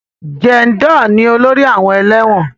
Jàndọ̀ ni olórí àwọn ẹlẹ́wọ̀n